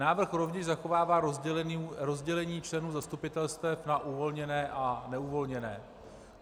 Návrh rovněž zachovává rozdělení členů zastupitelstev na uvolněné a neuvolněné.